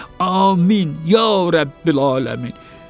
Amin, ya rəbbəl aləmin!